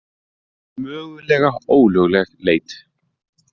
Mögulega ólögleg leit